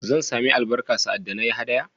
Zan sami albarka sa'ad da na yi haɗaya?